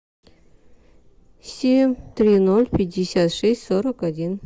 семь три ноль пятьдесят шесть сорок один